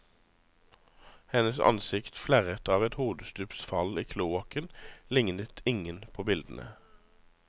Hennes ansikt flerret av et hodestups fall i kloakken lignet ingen på bildene.